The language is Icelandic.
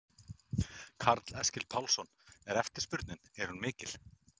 Karl Eskil Pálsson: Er eftirspurnin, er hún mikil?